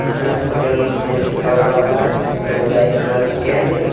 इसमें हॉस्पिटल में लिखा हुआ है सामुदायिक स्वास्थ्य केंद्र।